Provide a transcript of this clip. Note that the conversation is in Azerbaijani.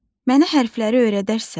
Mənə hərfləri öyrədərsən?